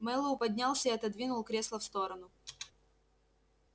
мэллоу поднялся и отодвинул кресло в сторону